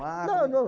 Não, não.